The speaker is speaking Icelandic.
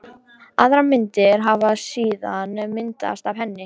Aðrar myndir hafi síðan myndast af henni.